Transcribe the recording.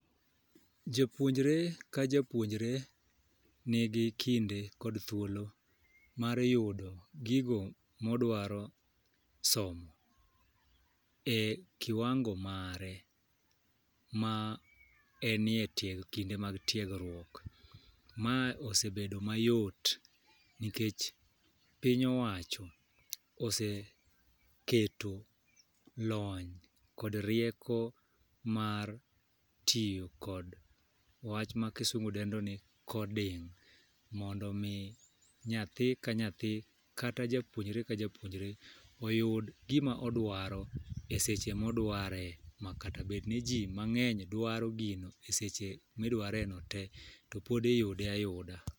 Japuonjre ka japuonjre nigi kinde kod thuolo mar yudo gigo modwaro somo e kiwango mare ma enie tieg kinde mag tiegruok . Ma osebedo mayot nikech piny owacho ose keto lony kod rieko mar tiyo kod wach ma kisungu dendo ni coding mondo mi, nyathi ka nyathi kata japuonjre ka japuonjre oyud gima odwaro eseche modware makata bed ni jii mang'eny dwaro gino eseche midware no tee to pod iyude ayuda.